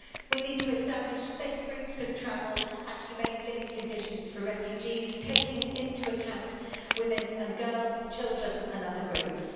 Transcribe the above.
We need to establish safe routes of travel and humane living conditions for refugees, taking into account women and girls, children and other groups.